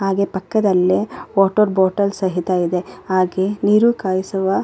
ಹಾಗೆ ಪಕ್ಕದಲ್ಲೆ water bottle ಸಹಿತ ಇದೆ ಹಾಗೆ ನೀರು ಕಾಯಿಸುವ --